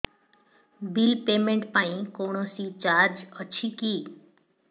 bill payment ପାଇଁ କୌଣସି charge ଅଛି କି